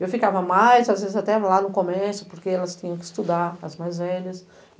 Eu ficava mais, às vezes até lá no comércio, porque elas tinham que estudar, as mais velhas.